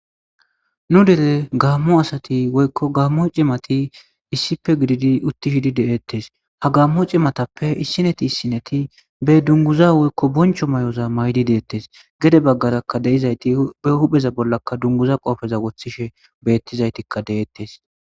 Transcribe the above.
Nu dere gamo asati woyko gamo c'imati issipe gididi utidi de'etes ha gamo c'imatape issinet issinet be dunguza woyko boncho mayoza mayidi de'etes gede bagara de'izat be huphenza bolaraka dunguza qophe wotishe betizaytika de'etes.